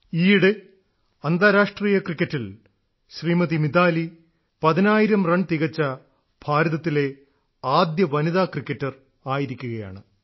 ഈയിടെ അന്താരാഷ്ട്രീയ ക്രിക്കറ്റിൽ ശ്രീമതി മിതാലി പതിനായിരം റൺ തികച്ച ഭാരതത്തിലെ ആദ്യ വനിതാ ക്രിക്കറ്റർ ആയിരിക്കുകയാണ്